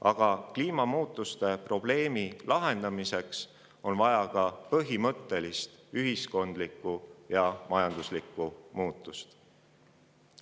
Aga kliimamuutuste probleemi lahendamiseks on vaja ka põhimõttelist ühiskondlikku ja majanduslikku muutust.